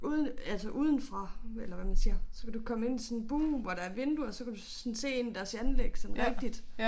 Ude altså udefra eller hvad man siger så kan du komme ind til sådan bue hvor der er vinduer så kan du sådan se ind i deres anlæg sådan rigtigt